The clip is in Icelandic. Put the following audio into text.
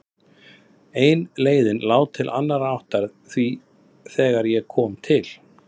En leiðin lá til annarrar áttar því þegar ég kom til